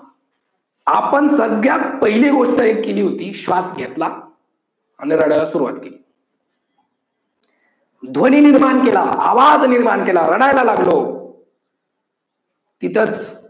आपण सगळ्यात एक गोष्ट केली होती श्वास घेतला आणि रडायला सुरवात केली ध्वनी निर्माण केला आवाज निर्माण केला रडायला लागलो इथच